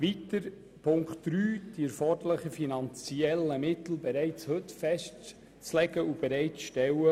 Zu Punkt 3: Wir betrachten es als falsch, die erforderlichen finanziellen Mittel bereits heute festzulegen und bereitzustellen.